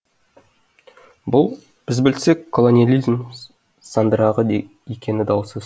бұл біз білсек колониализм сандырағы екені даусыз